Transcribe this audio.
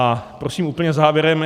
A prosím úplně závěrem.